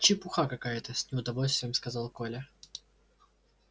чепуха какая-то с неудовольствием сказал коля